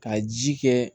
Ka ji kɛ